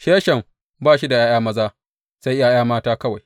Sheshan ba shi da ’ya’ya maza, sai ’ya’ya mata kawai.